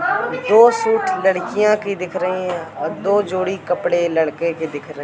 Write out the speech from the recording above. दो सूट लड़कियाँ की दिख रही हैं और दो जोड़ी कपड़े लड़के के दिख रहे --